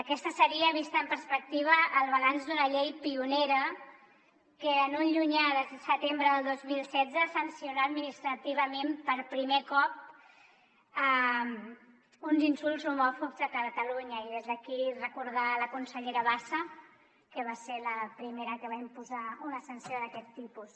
aquest seria vist en perspectiva el balanç d’una llei pionera que un llunyà setembre del dos mil setze sancionà administrativament per primer cop uns insults homòfobs a catalunya i des d’aquí recordar la consellera bassa que va ser la primera que va imposar una sanció d’aquest tipus